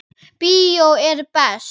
Bíó er best.